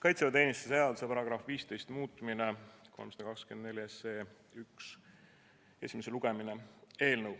Kaitseväeteenistuse seaduse § 15 muutmise seaduse eelnõu 324 esimene lugemine.